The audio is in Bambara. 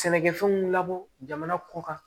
Sɛnɛkɛfɛnw labɔ jamana kɔ kan